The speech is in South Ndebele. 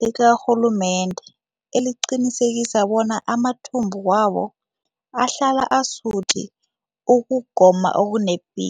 likarhulumende eliqinisekisa bona amathumbu wabo ahlala asuthi ukugoma okunepi